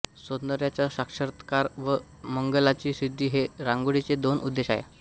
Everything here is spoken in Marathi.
सौंदर्याचा साक्षात्कार व मंगलाची सिद्धी हे रांगोळीचे दोन उद्देश होत